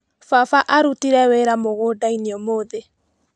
Baba arutire wĩra mũgũndainĩ ũmũthĩ.